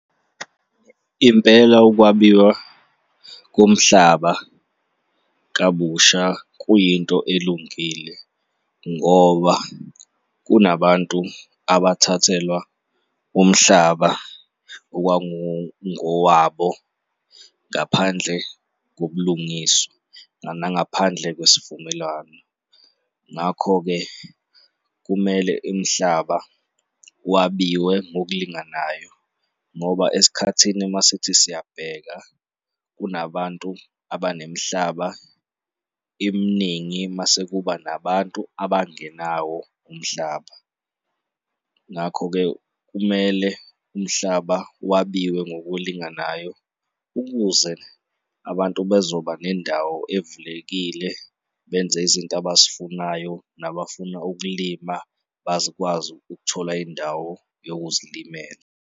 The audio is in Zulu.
Impela ukwabiwa komhlaba kabusha kuyinto elungile ngoba kunabantu abathathelwa umhlaba okwakungowabo ngaphandle kobulungiswa nangaphandle kwesivumelwano. Ngakho-ke, kumele imihlaba wabiwe ngokulinganayo ngoba esikhathini masithi siyabheka, kunabantu abanemihlaba eminingi mase kuba nabantu abangenawo umhlaba. Ngakho-ke, kumele umhlaba wabiwe ngokulinganayo ukuze abantu bazoba nendawo evulekile, benze izinto abazifunayo nabafuna ukulima bazikwazi ukuthola indawo yokuzilimela.